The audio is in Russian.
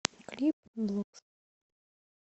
клип блок